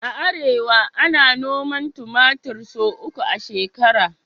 A arewa, ana noman tumatir sau uku a shekara